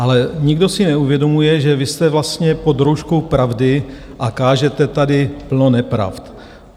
Ale nikdo si neuvědomuje, že vy jste vlastně pod rouškou pravdy, a kážete tady plno nepravd.